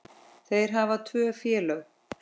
Þeir hafa tvö félög.